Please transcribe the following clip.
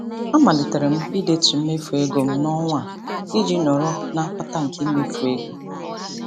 A malitere m ị detu mmefu ego m n'ọnwa a iji nọrọ na mkpata nke mmefu ego.